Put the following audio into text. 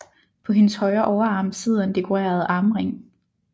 På hendes højre overarm sidder en dekoreret armring